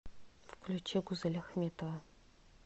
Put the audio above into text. включи гузель ахметова